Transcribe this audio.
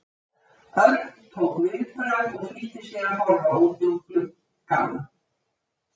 Örn tók viðbragð og flýtti sér að horfa út um glugg- ann.